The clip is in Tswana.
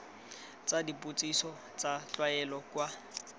tsa dipotsiso tsa tlwaelo kwa